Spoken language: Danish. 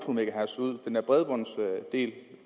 det